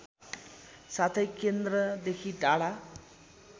साथै केन्द्रदेखि टाढा